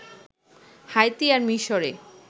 Haiti আর মিশরে